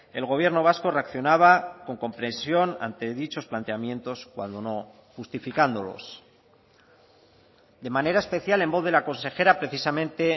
el gobierno vasco reaccionaba con comprensión ante dichos planteamientos cuando no justificándolos de manera especial en voz de la consejera precisamente